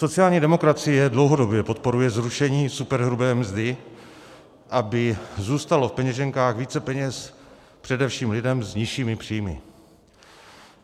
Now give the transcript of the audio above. Sociální demokracie dlouhodobě podporuje zrušení superhrubé mzdy, aby zůstalo v peněženkách více peněz především lidem s nižšími příjmy.